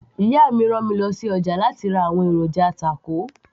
ìyá mi rán mi lọ sí ọjà láti ra àwọn èròjà tákò